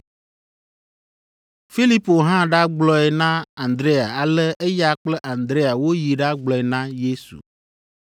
Filipo hã ɖagblɔe na Andrea ale eya kple Andrea woyi ɖagblɔe na Yesu.